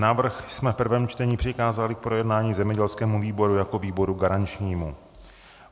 Návrh jsme v prvém čtení přikázali k projednání zemědělskému výboru jako výboru garančnímu.